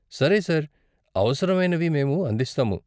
సరే సార్, అవసరమైనవి మేము అందిస్తాము.